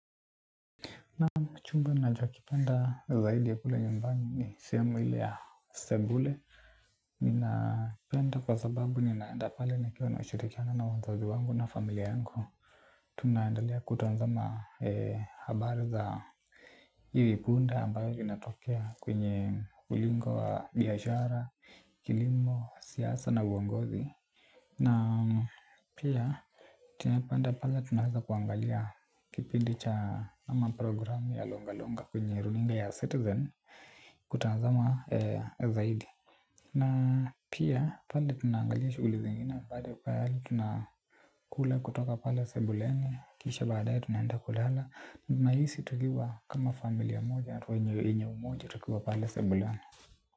Naam chumba ninachokipenda zaidi ya kule nyumbani ni sehemu ya sebule. Ninakipenda kwa sababu ninaenda pale nikiwa na ushirikiano na wazazi wangu na familia yangu. Tunaendelea kutazama habari za hivi punde ambayo vinatokea kwenye ulingo wa biashara, kilimo, siasa na uongozi. Na pia tunapenda pale tunaeza kuangalia kipindi cha ama program ya longa longa kwenye runinga ya citizen kutazama zaidi. Na pia pale tunaangalia shuguli zingine pale pale tunakula kutoka pale sebuleni kisha baadaye tunaenda kulala ninahisi tukiwa kama familia moja hatua yenye umoja tukiwa pale sebuleni.